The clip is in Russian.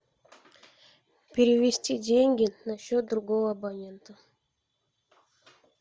перевести деньги на счет другого абонента